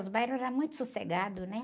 Os bairros eram muito sossegados, né?